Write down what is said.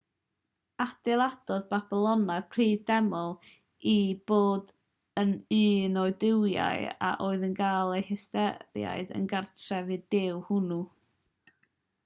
adeiladodd y babyloniaid prif deml i bob un o'u duwiau a oedd yn cael eu hystyried yn gartref i'r duw hwnnw